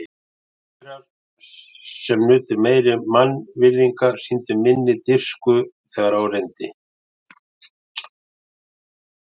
Þjóðverjar, sem nutu meiri mannvirðinga, sýndu minni dirfsku, þegar á reyndi.